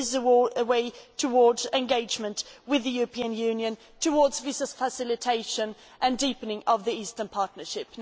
there is a way towards engagement with the European Union, towards visa facilitation and deepening of the Eastern Partnership.